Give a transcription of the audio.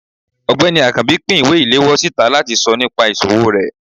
ọgbẹni akanbi pín ìwé ile-ìlewọ sitá latí sọ nìpa isòwó re.